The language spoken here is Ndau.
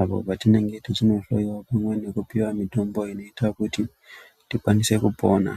apo patinenge tichinohloyiwa pamwe nekupiwa mitombo inoita kuti tikwanise kupona.